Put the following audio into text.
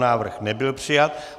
Návrh nebyl přijat.